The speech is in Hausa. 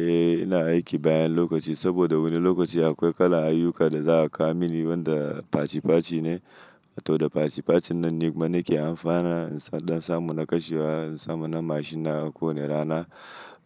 Eh ina aiki bayan lokaci, saboda wani lokaci akwai kala ayyuka da za a ka mini wanda faci faci ne. To da faci facin nan ne kuma nake amfana insad, in dan samu na kashewa, in samu na mashin na ko wane rana,